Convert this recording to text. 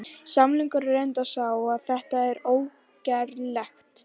Sannleikurinn er reyndar sá að þetta er ógerlegt!